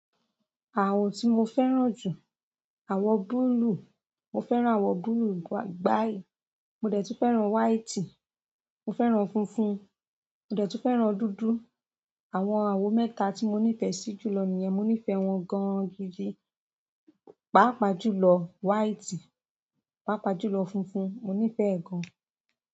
Àwọ tí mo fẹ́ràn jù, àwọ búlúù. Mo fẹ́ran awọ búlúù gbai, mo dẹ̀ tun fẹ́ran white, mo fẹ́ran fúnfún, mo dẹ̀ tun fẹ́ran dúdú. Àwọn àwo mẹ́ta tí mo nífẹ̀ẹ́ sí jùlọ nìyẹn. Mo nífẹ̀ẹ́ wọn gan-an gìdì. Pápá jùlọ white, pàápàá jùlọ funfun. Mo nífẹ̀ẹ́ gan-an.